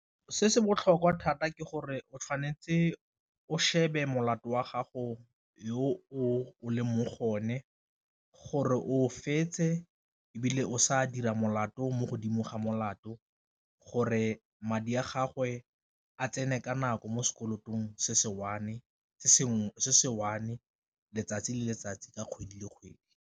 Se se botlhokwa thata ke gore o tshwanetse o shebe molato wa gago yo o leng mo go o ne gore o fetse, ebile o sa dira molato to mo godimo ga molato gore madi a gagwe a tsene ka nako mo sekolotong se se one letsatsi le letsatsi ka kgwedi le kgwedi.